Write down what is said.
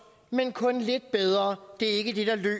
men kun lidt bedre det er ikke det der